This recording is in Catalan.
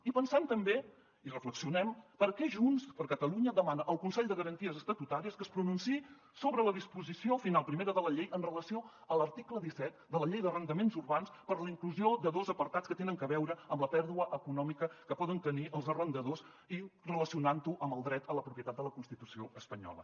i pensem també i reflexionem perquè junts per catalunya demana al consell de garanties estatutàries que es pronunciï sobre la disposició final primera de la llei amb relació a l’article disset de la llei d’arrendaments urbans per a la inclusió de dos apartats que tenen a veure amb la pèrdua econòmica que poden tenir els arrendadors i relacionant ho amb el dret a la propietat de la constitució espanyola